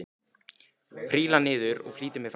Príla niður og flýti mér fram.